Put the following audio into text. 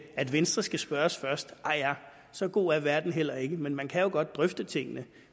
at venstre skal spørges først ah ja så god er verden heller ikke men man kan jo godt drøfte tingene